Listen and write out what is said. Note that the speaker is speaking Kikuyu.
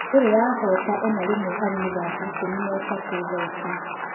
Ndĩrĩ yahoota onarimwe harĩ mĩthaki ikũmi na-ĩtatũ thaici.